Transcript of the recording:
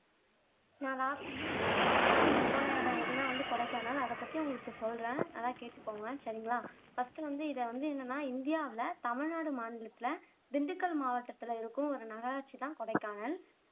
நான் லஸ்ட் லாஸ்டா வந்து போன இடம் எதுன்னா வந்து கொடைக்கானல் அதை பத்தி உங்களுக்கு சொல்லுறேன் நல்லா கேட்டுக்கோங்க சரிங்கலா ஃபர்ஸ்டு வந்து இத வந்து என்னன்னா இந்தியாவுல தமிழ்நாடு மாநிலத்துல திண்டுக்கல் மாவட்டத்துல இருக்கும் ஒரு நகராட்சி தான் கொடைக்கானல்